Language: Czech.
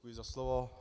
Děkuji za slovo.